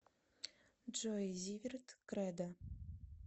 джой зиверт кредо